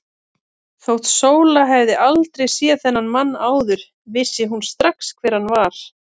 Þótt Sóla hefði aldrei séð þennan mann áður vissi hún strax hver hann var.